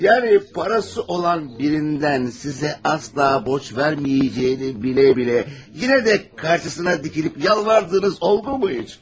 Yəni parası olan birindən sizə asla borc verməyəcəyini bilə-bilə yenə də qarşısına dikilib yalvardığınız oldu mu heç?